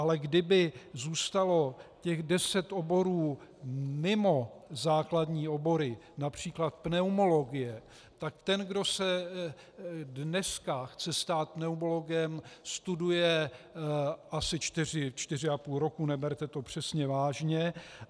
Ale kdyby zůstalo těch deset oborů mimo základní obory, například pneumologie, tak ten, kdo se dneska chce stát pneumologem, studuje asi čtyři, čtyři a půl roku, neberte to přesně vážně.